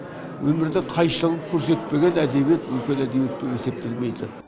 өмірдің қайшылығын көрсетпеген әдебиет үлкен әдебиет болып есептелмейді